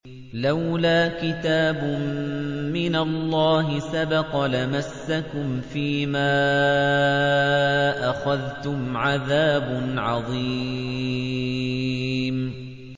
لَّوْلَا كِتَابٌ مِّنَ اللَّهِ سَبَقَ لَمَسَّكُمْ فِيمَا أَخَذْتُمْ عَذَابٌ عَظِيمٌ